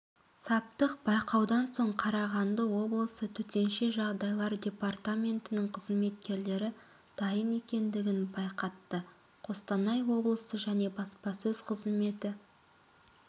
саптық байқаудан соң қарағанды облысы төтенше жағдайлар департаментінің қызметкерлері дайын екендігін байқатты қостанай облысы және баспасөз-қызметі